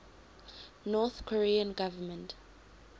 north korean government